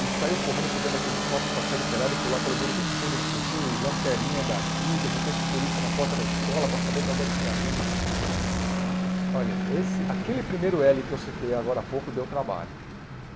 e saiu correndo por dentro daquele sótão para sair do telhado e pular pelo muro do fundo, não sei o quê, e lanterninha daqui, de repente polícia na porta da escola para saber de onde é que tinha vindo os... Olha, esse aquele primeiro éle que eu citei agora há pouco deu trabalho.